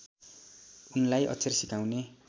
उनलाई अक्षर सिकाउने